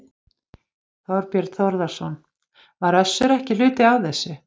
Þorbjörn Þórðarson: Var Össur ekki hluti af þessu?